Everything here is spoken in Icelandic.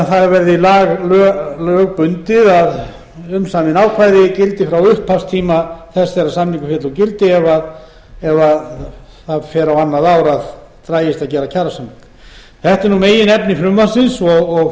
það verði lögbundið að umsamin ákvæði gildi frá upphafstíma þess þegar samningur féll úr gildi ef það fer á annað ár að dragist að gera kjarasamning þetta er meginefni